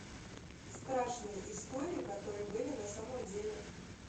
страшные истории которые были на самом деле